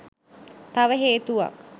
තව හේතුවක්.